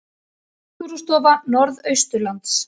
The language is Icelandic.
Náttúrustofa Norðausturlands